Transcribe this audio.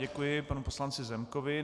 Děkuji panu poslanci Zemkovi.